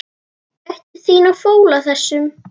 Gættu þín á fóla þessum.